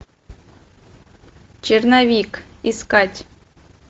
черновик искать